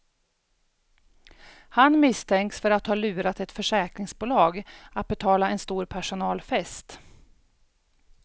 Han misstänks för att ha lurat ett försäkringsbolag att betala en stor personalfest.